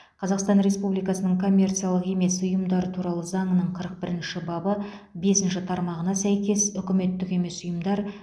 қазақсан республикасының коммерциялық емес ұйымдар туралы заңының қырық бірінші бабы бесінші тармағына сәйкес үкіметтік емес ұйымдар